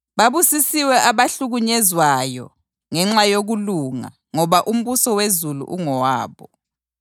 Babusisiwe abahlukunyezwayo ngenxa yokulunga, ngoba umbuso wezulu ungowabo.